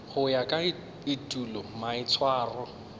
go ya ka etulo maitshwaro